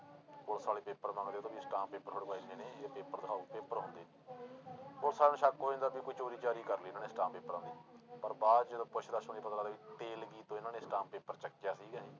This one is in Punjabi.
ਪੁਲਿਸ ਵਾਲੇ ਪੇਪਰ ਮੰਗਦੇ ਆ ਅਸਟਾਮ ਪੇਪਰ ਪੇਪਰ ਦਿਖਾਓ ਪੇਪਰ ਹੁੰਦੇ ਨੀ ਪੁਲਿਸ ਵਾਲਿਆਂ ਨੂੰ ਸ਼ੱਕ ਹੋ ਜਾਂਦਾ ਵੀ ਕੋਈ ਚੋਰੀ ਚਾਰੀ ਕਰ ਲਈ ਇਹਨਾਂ ਨੇ ਅਸਟਾਮ ਪੇਪਰਾਂ ਦੀ ਪਰ ਬਾਅਦ 'ਚ ਜਦੋਂ ਪੁੱਛ ਤੇਲਗੀ ਤੋਂ ਇਹਨਾਂ ਨੇ ਅਸਟਾਮ ਪੇਪਰ ਚੱਕਿਆ ਸੀਗਾ।